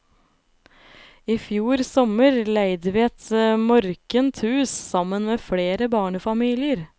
I fjor sommer leide vi et morkent hus sammen med flere barnefamilier.